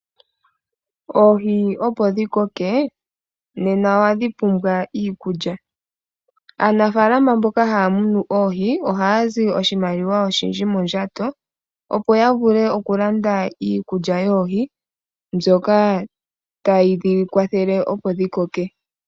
Oohi opo dhi koke nena ohadhi pumbwa iikulya. Aanafaalama mboka haya munu oohi ohaya zi oshimaliwa oshindji mondjato. Opo ya vule oku landa iikulya yoohi mbyoka tayi dhi kwathele opo dhi koke.